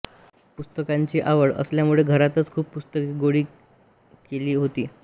पुस्तकांची आवड असल्यामुळे घरातच खूप पुस्तके गोळा केली होती